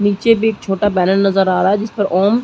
नीचे भी एक छोटा बैनर नज़र आ रहा है जिस पर ओम--